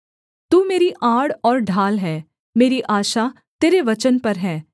तू मेरी आड़ और ढाल है मेरी आशा तेरे वचन पर है